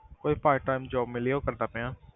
ਕੋਈ part time job ਮਿਲੀ ਆ, ਉਹ ਮੈਂ ਕਰ ਰਿਹਾਂ।